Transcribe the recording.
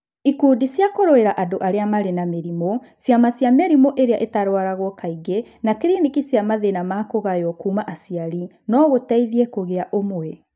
Ikundi cia kũrũĩra andũ arĩa marĩ na mĩrimũ, ciama cia mĩrimũ ĩrĩa ĩtarũaragwo kaingĩ na kriniki cia mathĩĩna ma kũgayo kuuma aciari no gũteithie kũgĩa ũmwe.